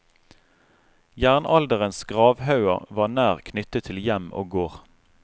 Jernalderens gravhauger var nær knyttet til hjem og gård.